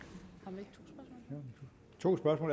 ved